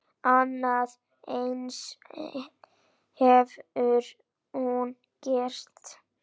Annað eins hefur hún gert.